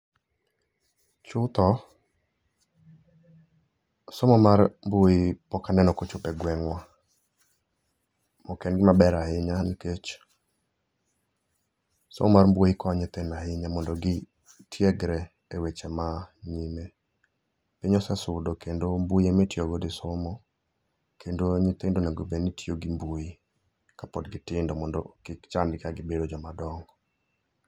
Chutho somo mar mbui pok aneno ka ochopo gwengwa. Ok en gima ber ahinya nikech somo mar mbui konyo nyithindo ahinya mondo gitiegre e weche ma nyime. Piny osesudo kendo mbui ema itiyo go e somo kendo nyithindo owinjo obed ni tiyo gi mbui kapod gitindo mondo kik chandgi ka gibedo joma dongo